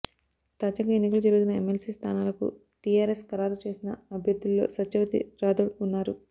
తాజాగా ఎన్నికలు జరుగుతున్న ఎమ్మెల్సీ స్థానాలకు టీఆర్ఎస్ ఖరారు చేసిన అభ్యర్థుల్లో సత్యవతి రాథోడ్ ఉన్నారు